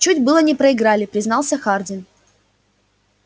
чуть было не проиграли признался хардин